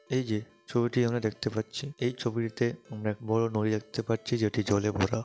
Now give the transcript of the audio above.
এই যে ছবিটি আমরা দেখতে পাচ্ছি এই ছবিটিতে আমরা একটা বড়ো নরি দেখতে পাচ্ছি যেটি জলে ভরা।